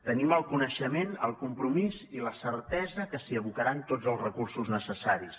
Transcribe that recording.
tenim el coneixement el compromís i la certesa que s’hi abocaran tots els recursos necessaris